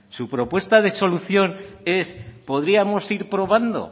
su propuesta de solución es podríamos ir probando